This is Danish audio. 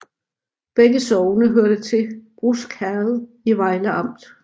Begge sogne hørte til Brusk Herred i Vejle Amt